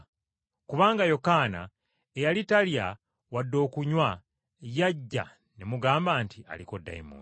Kubanga Yokaana eyali talya wadde okunywa yajja ne mugamba nti, ‘Aliko dayimooni.’